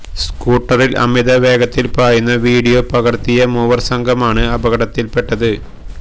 സ്കൂട്ടറില് അമിത വേഗത്തില് പായുന്ന വിഡിയോ പകര്ത്തിയ മൂവര് സംഘമാണ് അപകടത്തില് പെട്ടത്